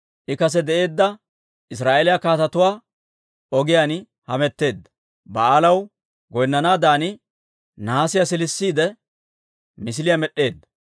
I kase de'eedda Israa'eeliyaa kaatetuwaa ogiyaan hametteedda. Ba'aalaw goynnanaadan nahaasiyaa siilisiide, misiliyaa med'd'eedda.